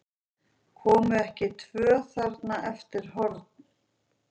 Komu ekki tvö þarna eftir horn?